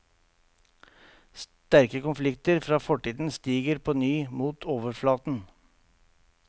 Sterke konflikter fra fortiden stiger på ny mot overflaten.